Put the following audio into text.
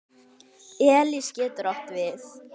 Elis getur átt við